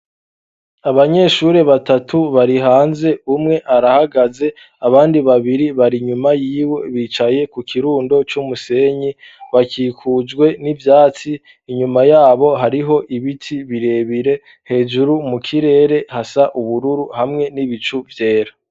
Abanyeshuri batatu bari hanze ,umwe arahagaze ,abandi babiri bari nyuma y'iwe ,bicaye ku kirundo c'umusenyi ,bakikujwe n'ivyatsi, inyuma yabo hariho ibiti birebire, hejuru mu kirere hasa ubururu hamwe n'ibicu vyera.